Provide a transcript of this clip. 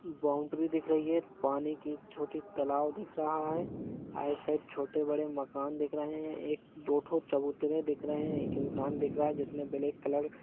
boundary दिख रही है पानी कि छोटी तलाब दिख रहा है आई साइड छोटे बड़े मकान दिख रहे है एक दो थो चबूतरे दिख रहे है एक इन्सान दिख रहा है जिसने ब्लैक कलर --